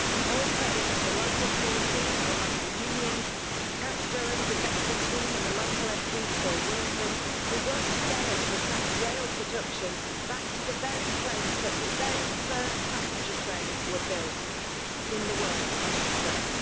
All credit to the local community, our local unions, County Durham's investment team, and the local MP Phil Wilson, who worked together to attract rail production back to the very place that the very first passenger trains were built in the world, I should stress.